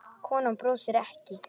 Konan brosir ekki.